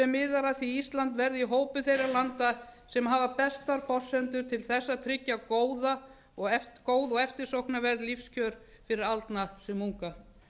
miðar að því að ísland verði í hópi þeirra landa sem hafa bestar forsendur til að tryggja góð og eftirsóknarverð lífskjör fyrir aldna sem unga